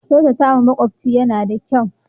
Kyautatawa makyafci yana da kyau.